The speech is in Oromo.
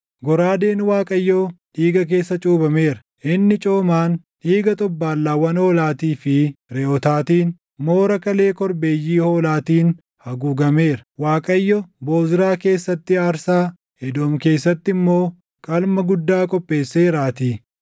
Goraadeen Waaqayyoo dhiiga keessa cuuphameera; inni coomaan, dhiiga xobbaallaawwan hoolaatii fi reʼootaatiin, moora kalee korbeeyyii hoolaatiin haguugameera. Waaqayyo Bozraa keessatti aarsaa, Edoom keessatti immoo qalma guddaa qopheesseeraatii.